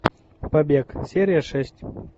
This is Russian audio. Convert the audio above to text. побег серия шесть